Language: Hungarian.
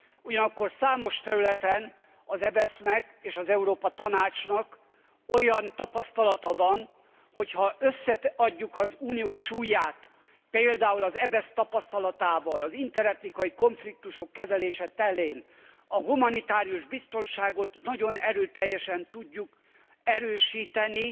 Ugyanakkor számos területen az EBESZ nek és az Európa Tanácsnak olyan tapasztalata van, hogy ha összeadjuk az Unió súlyát, például az EBESZ tapasztalatával az interetnikai konfliktusok kezelése terén, a humanitárius biztonságot nagyon erőteljesen tudjuk erősíteni